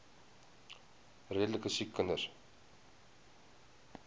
redelike siek kinders